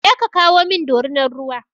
Je ka kawo min dorinar ruwa!